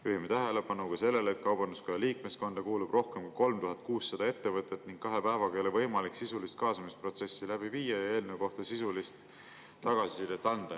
Juhime tähelepanu ka sellele, et Kaubanduskoja liikmeskonda kuulub rohkem kui 3600 ettevõtet ning kahe päevaga ei ole võimalik sisulist kaasamisprotsessi läbi viia ja eelnõu kohta sisulist tagasisidet anda.